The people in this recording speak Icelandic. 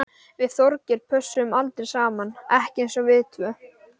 Við Þorgeir pössuðum aldrei saman, ekki eins og við tvö.